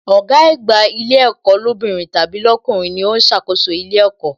Ọ̀gá àgbà ilé ẹ̀kọ́ lóbìnrin tàbí lọkunrin ni ó ń ṣàkóso ilé ẹ̀kọ́